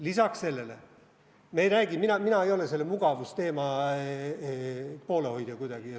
Lisaks sellele ei ole mina selle mugavusteema poolehoidja.